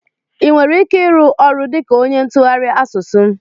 I nwere ike ịrụ ọrụ dịka ónyé ntụgharị asụsụ?